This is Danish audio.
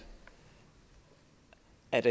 at